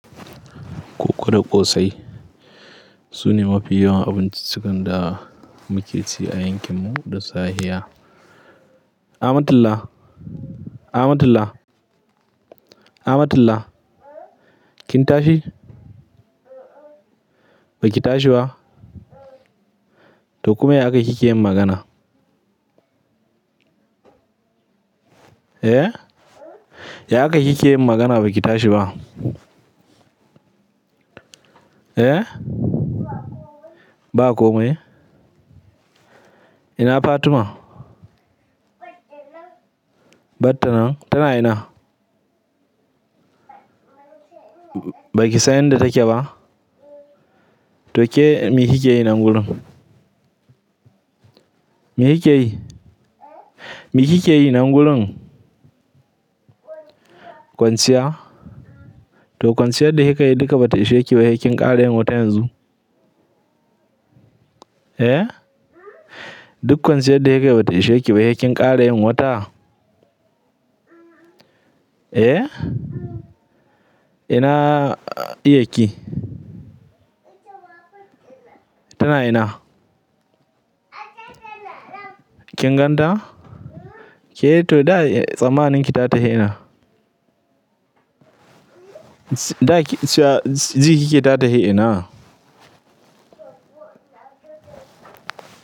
Koko da ƙosai. Sune mafi yawan abinciccikan da muke ci a yankinmu da sahiya. Amatullah, Amatullah, Amatullah kin tashi? Baki tashi ba? To kuma ya akai kike yin magana? Eh? Ya akayi kike yii magana baki tashi ba? Eh? Ba komai? Ina Fatima? Batta nan. Batta nan, tana ina? Baki san inda take ba? To ke mi kike yi nan gurin? Me kike yi? Me kike yi nan gulu? Kwanciya. Kwanciya? To kwanciyar da kika yi duka bata ishe ki ba, sai kin ƙara yin wata yanzu. Eh? Duk kwanciyar da kika yi bata ishe ki ba, sai kin ƙara yin wata? Eh? Ina iyarki? Tana ina? Kin gan ta? Ke to da tsammanin ki ta tafi ina? Da jikike ta tahi ina?